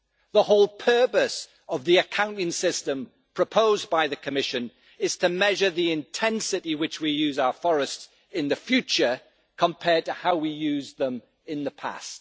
The whole purpose of the accounting system proposed by the Commission is to measure the intensity with which we use our forests in the future compared to how we used them in the past.